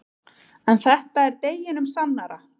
En þetta er deginum sannara.